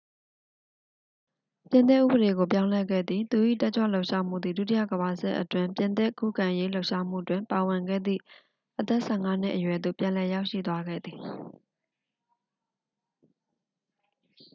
ပြင်သစ်ဥပဒေကို ပြောင်းလဲခဲ့သည် သူ၏ တက်ကြွလှုပ်ရှားမှုသည် ဒုတိယကမ္ဘာစစ်အတွင်း ပြင်သစ်ခုခံရေးလှုပ်ရှားမှုတွင် ပါဝင်ခဲ့သည့် အသက် 15 နှစ်အရွယ်သို့ ပြန်လည်ရောက်ရှိသွားခဲ့သည်